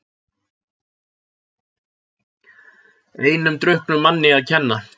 Einum drukknum manni að kenna